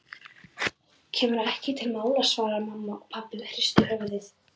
Kemur ekki til mála svaraði mamma og pabbi hristi höfuðið.